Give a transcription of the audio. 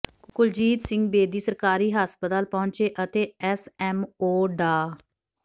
ਕੁਲਜੀਤ ਸਿੰਘ ਬੇਦੀ ਸਰਕਾਰੀ ਹਸਪਤਾਲ ਪਹੁੰਚੇ ਅਤੇ ਐਸਐਮਓ ਡਾ